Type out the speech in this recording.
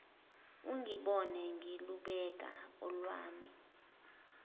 ungibone ngilubeka olwami